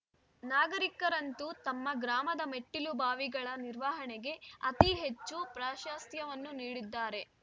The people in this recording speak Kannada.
ನಾಗರೀಕರಂತೂ ತಮ್ಮ ಗ್ರಾಮದ ಮೆಟ್ಟಿಲುಬಾವಿಗಳ ನಿರ್ವಹಣೆಗೆ ಅತೀ ಹೆಚ್ಚು ಪ್ರಾಶಸ್ತ್ಯವನ್ನು ನೀಡಿದ್ದಾರೆ